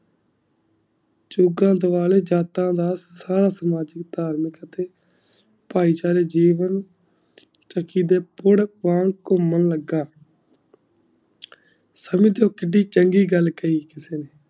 ਚੁਗਲ ਦਾਵਾਲ੍ਯ ਜਤਾ ਦਾ ਖਾਸ ਮਜੂਦਾ ਤਾਰਮਿਕ ਅਤੇ ਭਾਈ ਚਾਰੇ ਜੀਵਨ ਘੁਮਣ ਲਗਾ ਸੁੰਨੀ ਥੋਪ ਦੀ ਚੰਗੀ ਗਲ ਕਈ ਕਿਸੇ ਨੇ ਸੁੰਨੀ ਥੋਪ ਦੀ ਚੰਗੀ ਗਲ ਕਈ ਕਿਸੇ ਨੇ